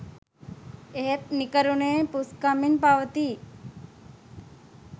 එහෙත් නිකරුණේ පුස්කමින් පවතියි